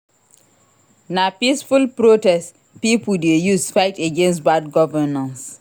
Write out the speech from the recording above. Na peaceful protest pipo dey use fight against bad governance.